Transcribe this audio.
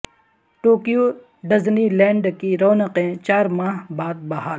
Tokyo Disneyland کی رونقیں چار ماہ بعد بحال